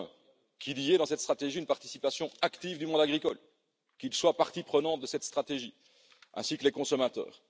Premièrement, qu'il y ait dans cette stratégie une participation active du monde agricole, qu'il soit partie prenante de cette stratégie, ainsi que les consommateurs.